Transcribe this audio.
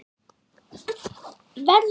Verður það mikið verra?